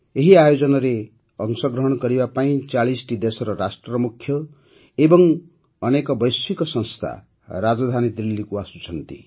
ଏହି ଆୟୋଜନରେ ଅଂଶଗ୍ରହଣ କରିବା ପାଇଁ ୪୦ଟି ଦେଶର ରାଷ୍ଟ୍ରମୁଖ୍ୟ ଏବଂ ଅନେକ ବୈଶ୍ୱିକ ସଂସ୍ଥା ରାଜଧାନୀ ଦିଲ୍ଲୀକୁ ଆସୁଛନ୍ତି